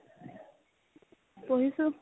পঢ়িছো